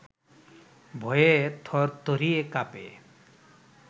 ভয়ে থরথরিয়ে কাঁপে